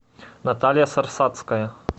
наталья сарсацкая